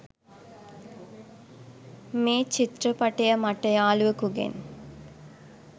මේ චිත්‍රපටය මට යාලුවෙකුගෙන්